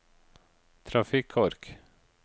trafikkork